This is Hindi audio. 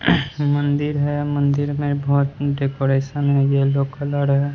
मंदिर है। मंदिर में बहोत डेकोरेशन है येलो कलर है।